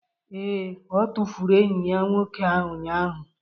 Ee, ọ tụfuru enyi ya nwoke ụnyahụ